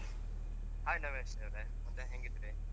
Hai ನವ್ಯಶ್ರೀವ್ರೆ ಮತ್ತೆ ಹೆಂಗಿದ್ರಿ ?